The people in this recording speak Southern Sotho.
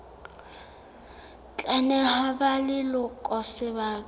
tla neha ba leloko sebaka